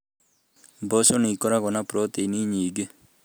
Mboco nĩ ikoragwo na proteini nyingĩ.